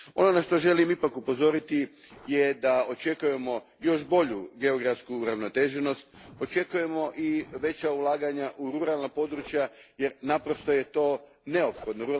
Ono na što želim ipak upozoriti je da očekujemo još bolju geografsku uravnoteženost, očekujemo i veća ulaganja u ruralna područja jer to je naprosto neophodno.